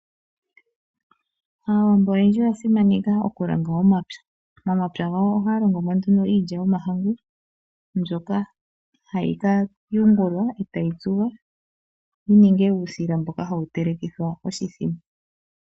Aawambo oyendji oyasimaneka okulonga omapya. Momapya gawo ohaya longo mo nduno iilya yomahangu mbyoka hayi ka yungulwa etayi tsuwa yininge uusila mboka hawu telekithwa oshithima.